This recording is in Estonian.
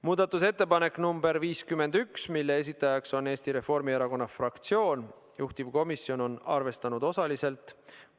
Muudatusettepanek nr 51, selle esitajaks on Eesti Reformierakonna fraktsioon ja juhtivkomisjon on arvestanud seda osaliselt .